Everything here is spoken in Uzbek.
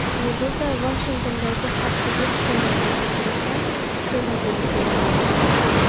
Meduza Vashingtondagi xavfsizlik choralari aks etgan suratlar bilan bo‘lishdi .